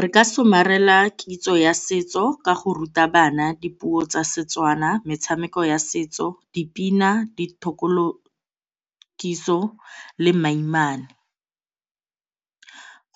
Re ka somarela kitso ya setso ka go ruta bana dipuo tsa Setswana, metshameko ya setso, dipina, le mainaane.